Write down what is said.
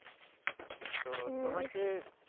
তো তোমাকে